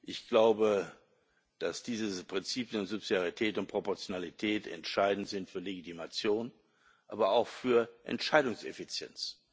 Ich glaube, dass diese Prinzipien Subsidiarität und Proportionalität entscheidend sind für Legitimation, aber auch für Entscheidungseffizienz.